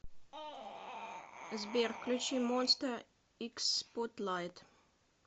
сбер включи монста икс спотлайт